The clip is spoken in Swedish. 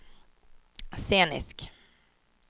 scenisk